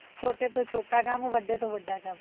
ਛੋਟੇ ਤੋਂ ਛੋਟਾ ਕੰਮ ਵੱਡੇ ਤੋ ਵੱਡਾ ਕੰਮ